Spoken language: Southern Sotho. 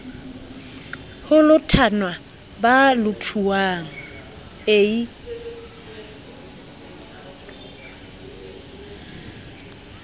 ho lothanwa ba lothuwang ie